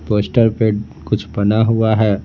Poster पे कुछ बना हुआ है।